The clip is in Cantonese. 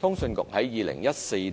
通訊局在2014